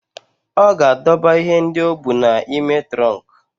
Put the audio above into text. Ọ ga-adọba ihe ndị o bu n'ime trọnkụ.